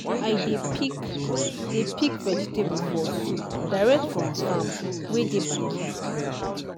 i dey pick dey pick vegetable for soup direct from farm wey dey backyard